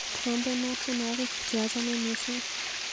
Trompenwa tyenwokik che achame missing.